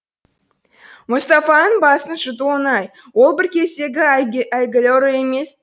мұстафаның басын жұту оңай ол бір кездегі әйгілі ұры емес